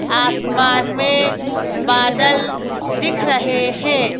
आसमान में बादल दिख रहे है।